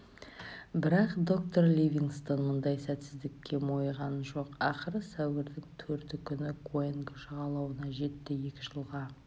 бірақ доктор ливингстон мұндай сәтсіздікке мойыған жоқ ақыры сәуірдің төрті күні куанго жағалауына жетті екі жылға